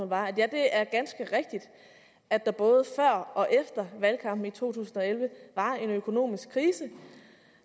var ja det er ganske rigtigt at der både før og efter valgkampen i to tusind og elleve var en økonomisk krise